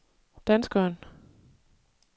danskeren